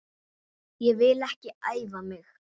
Ég vil ekki æfa mig.